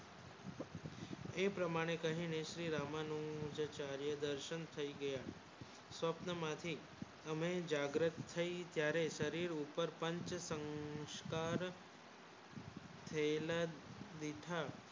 એ પ્રમાણે કહીને શ્રી રામનું જો ચારેય દાર્શન થયી ગયા સ્વ્પ્ન માંથી હમે જાગરૂક થયી ત્યારે તરી ઉપર પાંચ સંસ્કાર પેહલા રીટા